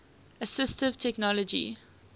assistive technology